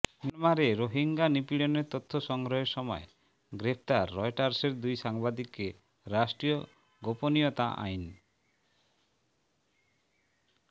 মিয়ানমারে রোহিঙ্গা নিপীড়নের তথ্য সংগ্রহের সময় গ্রেফতার রয়টার্সের দুই সাংবাদিককে রাষ্ট্রীয় গোপনীয়তা আইন